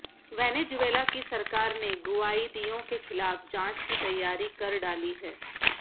Venezuela की सरकार ने गुआइदियों के खिलाफ जांच की तैयारी कर डाली है